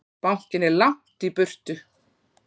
Bankinn er langt í burtu.